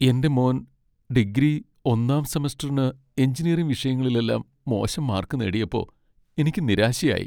എന്റെ മോൻ ഡിഗ്രി ഒന്നാം സെമസ്റ്ററിന് എഞ്ചിനീയറിംഗ് വിഷയങ്ങളിലെല്ലാം മോശം മാർക്ക് നേടിയപ്പോ, എനിക്ക് നിരാശയായി.